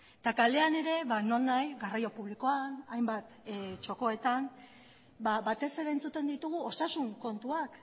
eta kalean ere nonahi garraio publikoan hainbat txokoetan batez ere entzuten ditugu osasun kontuak